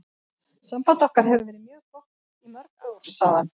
Samband okkar hefur verið mjög gott í mörg ár, sagði hann.